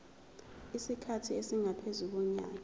isikhathi esingaphezu konyaka